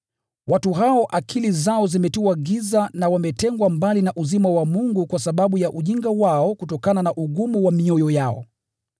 Watu hao akili zao zimetiwa giza na wametengwa mbali na uzima wa Mungu kwa sababu ya ujinga wao kutokana na ugumu wa mioyo yao.